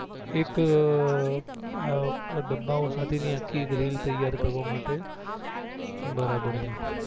એક આ ડબ્બાઓ સાથે ની આખી એક રિલ તૈયાર કરવા માટે બરાબર છે